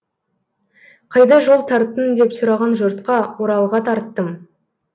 қайда жол тарттың деп сұраған жұртқа оралға тарттым